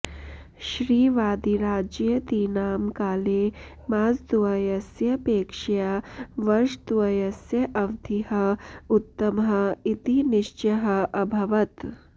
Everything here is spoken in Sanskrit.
श्रीवादिराजयतीनां काले मासद्वयस्यापेक्षया वर्षद्वयस्य अवधिः उत्तमः इति निश्चयः अभवत्